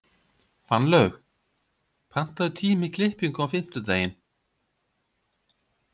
Fannlaug, pantaðu tíma í klippingu á fimmtudaginn.